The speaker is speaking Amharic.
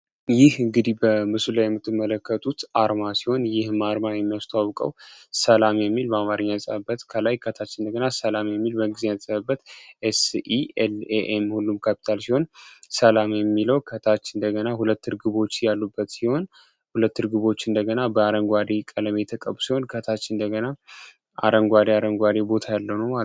ይህ እንግዲህ በምሱ ላይ የምትመለከቱት አርማ ሲሆን ይህ ማርማ የሚያስቷውቀው ሰላሜ የሚል ማማርኛ ጸብበት ከላይ ከታች እንደገና ሰላሜ የሚል በግዜ ጸብበት ኤስኤም ሁሉም ካፒታል ሲሆን ሰላም የሚለው ከታች እንደገና ሁለት ርግቦች ያሉበት ሲሆን ሁለት ርግቦች እንደገና በአረንጓሪ ቀለሜ የተቀቡ ሲሆን ከታች እንደገና አረንጓዴ ቦታ ያለው ነው።